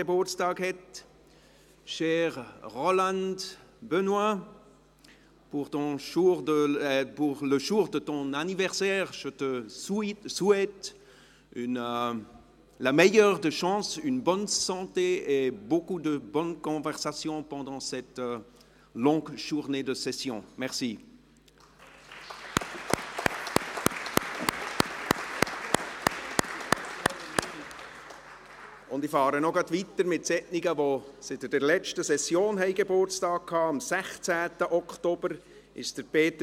Gebäudesanierung sind in den Planjahren 2021– 2023 um jährlich zwei Mio. Franken zu erhöhen, mit dem Ziel, spätestens bis 2030 mindestens den doppelten kantonalen Beitrag in Gebäudefördermassnahmen zu investieren, wie dies in der Herbstsession in der Motion 085-2019 beschlossen wurde.